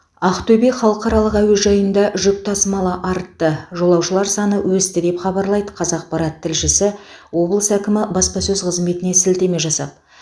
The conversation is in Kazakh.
ақтөбе халықаралық әуежайында жүк тасымалы артты жолаушылар саны өсті деп хабарлайды қазақпарат тілшісі облыс әкімінің баспасөз қызметіне сілтеме жасап